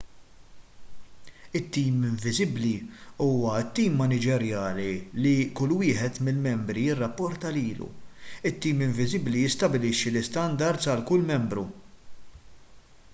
it- tim inviżibbli” huwa t-tim maniġerjali li kull wieħed mill-membri jirrapporta lilu. it-tim inviżibbli jistabbilixxi l-istandards għal kull membru